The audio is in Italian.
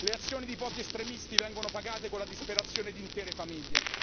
Le azioni di pochi estremisti vengono pagate con la disperazione di intere famiglie.